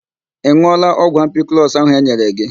Ị ṅụọla ọgwụ ampiklọs ahụ e nyere gị